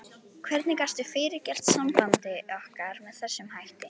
Hvernig gastu fyrirgert sambandi okkar með þessum hætti?